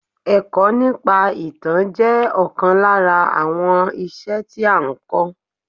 Èkọ́ nípa ìtàn jẹ́ ọ̀kan lára àwọn iṣẹ́ tí a n kọ́.